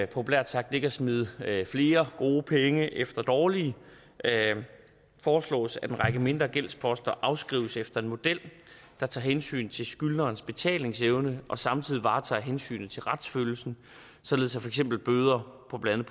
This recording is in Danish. populært sagt ikke at smide flere gode penge efter dårlige foreslås at en række mindre gældsposter afskrives efter en model der tager hensyn til skyldnerens betalingsevne og samtidig varetager hensynet til retsfølelsen således at for eksempel bøder på blandt